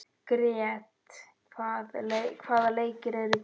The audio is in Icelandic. Grét, hvaða leikir eru í kvöld?